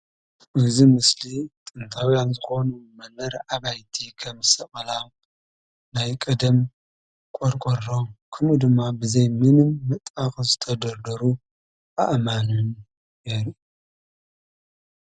እዚ ምስሊ ጥንታውያን ዝኾኑ መንበሪ አባይቲ ከም ሰቐላ ናይ ቀደም ቆርቆሮ ከምኡ ድማ ብዘይ ምንም መጣበቂ ዝተደርደሩ አእማንን የርኢ።